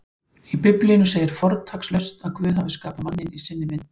Í Biblíunni segir fortakslaust að Guð hafi skapað manninn í sinni mynd: